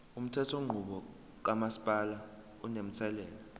umthethonqubo kamasipala unomthelela